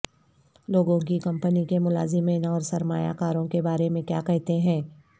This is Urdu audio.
لوگوں کی کمپنی کے ملازمین اور سرمایہ کاروں کے بارے میں کیا کہتے ہیں